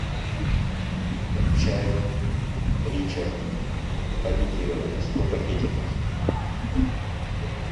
чай ричард пакетированный сто пакетиков